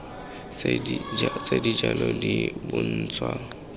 tse di jalo di bontsha